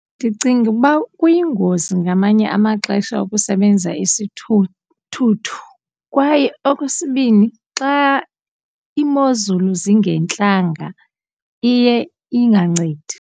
Ndicinga uba kuyingozi ngamanye amaxesha ukusebenzisa isithuthuthu kwaye okwesibini xa imozulu zingentlanga iye ingancedi.